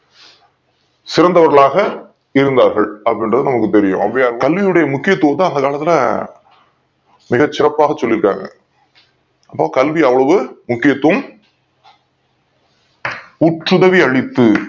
சிறந்தவர்கால இருந்தார்கள் அப்டி இன்றது நமக்கு தெரியும் ஔவையார் கல்வியோடைய முக்கியத்துவத்த அந்த காலத்துல மிக சிறப்பாக சொல்லி தாங்க கல்வி அவளது முக்கியதுவோம் முற்று தனில் அளித்து